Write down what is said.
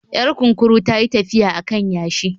Yar kunkuru ta yi tafiya a kan yashi